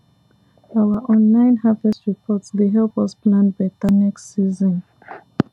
our online harvest report dey help us plan better next season